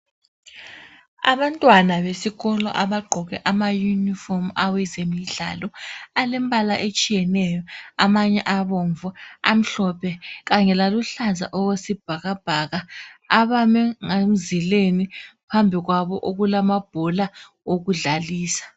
Abantwana besikolo abagqoke amauniform awezemdlalo .Alembala etshiyeneyo. Amanye abomvu , amhlophe kanyela luhlaza okwesibhakabhaka .Bame emzileni phambi kwabo kulamabhola okudlalisa .